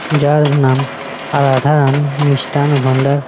যার নাম রাধারাণী মিষ্টান ভান্ডার--